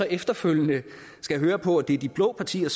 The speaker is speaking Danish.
efterfølgende skal høre på at det er de blå partier